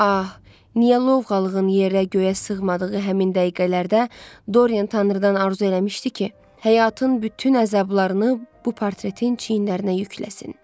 Ah, niyə lovğalığın yerə-göyə sığmadığı həmin dəqiqələrdə Doryan tanrıdan arzu eləmişdi ki, həyatın bütün əzablarını bu portretin çiyinlərinə yükləsin.